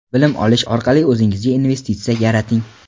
bilim olish orqali o‘zingizga investitsiya yarating.